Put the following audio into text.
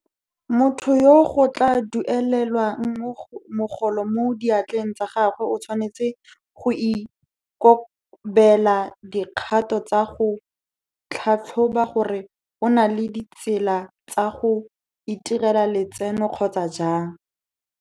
Motho yo go tla duelelwang mogolo mo diatleng tsa gagwe o tshwanetse go ikobela dikgato tsa go tlhatlhoba gore o na le ditsela tsa go itirela letseno kgotsa jang.